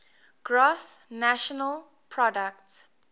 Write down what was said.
gross national product